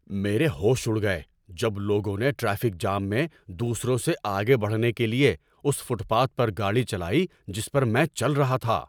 میرے ہوش اڑ گئے جب لوگوں نے ٹریفک جام میں دوسروں سے آگے بڑھنے کے لیے اس فٹ پاتھ پر گاڑی چلائی جس پر میں چل رہا تھا۔